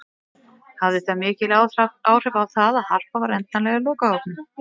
Hafði það mikil áhrif á það að Harpa var endanlega í lokahópnum?